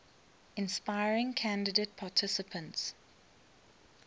inspiring candidate participants